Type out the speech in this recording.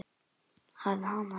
Að hamast svona.